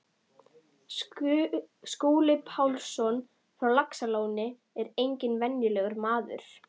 Skúli Pálsson frá Laxalóni er enginn venjulegur maður.